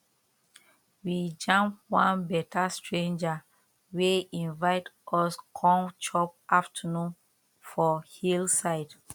we jam one beta stranger wey invite us come chop afternoon for hill side